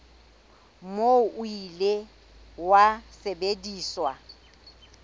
moo o ile wa sebediswa